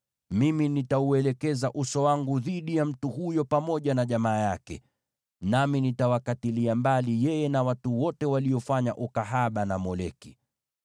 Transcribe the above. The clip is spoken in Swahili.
mimi nitauelekeza uso wangu dhidi ya mtu huyo pamoja na jamaa yake, nami nitawakatilia mbali yeye na watu wote waliofanya ukahaba na Moleki.